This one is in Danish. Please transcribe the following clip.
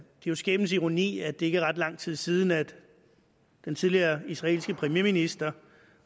jo skæbnens ironi at det ikke er ret lang tid siden at den tidligere israelske premierminister